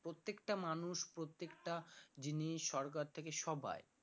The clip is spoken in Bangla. প্রত্যেকটা মানুষ প্রত্যেকটা জিনিস সরকার থেকে সবাই